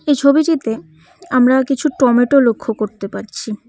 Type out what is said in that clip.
এই ছবিটিতে আমরা কিছু টমেটো লক্ষ করতে পারছি।